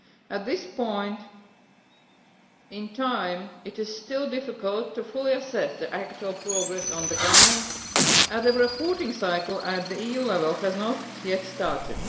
At this point in time, it is still difficult to fully assess the actual progress on the ground, as the reporting cycle at EU level has not yet started.